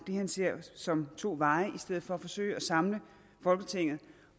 det han ser som to veje i stedet for at forsøge at samle folketinget